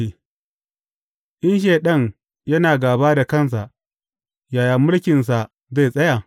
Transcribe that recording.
In Shaiɗan yana gāba da kansa, yaya mulkinsa zai tsaya?